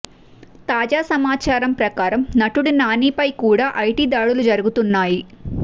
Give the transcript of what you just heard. తాజా సమాచారం ప్రకారం నటుడు నానిపై కూడా ఐటీ దాడులు జరుగుతున్నాయి